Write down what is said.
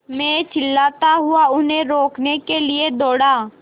मैं चिल्लाता हुआ उन्हें रोकने के लिए दौड़ा